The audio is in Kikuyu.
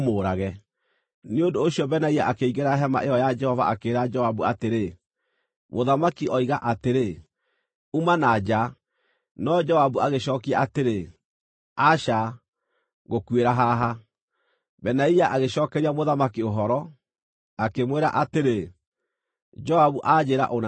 Nĩ ũndũ ũcio Benaia akĩingĩra hema ĩyo ya Jehova akĩĩra Joabu atĩrĩ, “Mũthamaki oiga atĩrĩ, ‘Uma na nja!’ ” No Joabu agĩcookia atĩrĩ, “Aca, ngũkuĩra haha.” Benaia agĩcookeria mũthamaki ũhoro, akĩmwĩra atĩrĩ, “Joabu anjĩĩra ũna na ũna.”